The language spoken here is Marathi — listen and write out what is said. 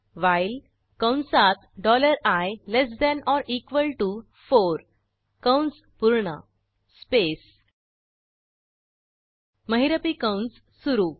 व्हाईल कंसात dollar I less than or equal to four कंस पूर्ण स्पेस महिरपी कंस सुरू